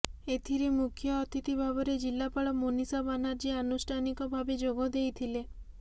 ଏଥିରେ ମୁଖ୍ୟ ଅତିଥି ଭାବରେ ଜିଲ୍ଲାପାଳ ମୋନିଷା ବାନାର୍ଜୀ ଆନୁଷ୍ଠାନିକ ଭାବେ ଯୋଗଦେଇଥିଲେ